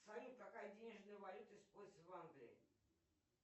салют какая денежная валюта используется в англии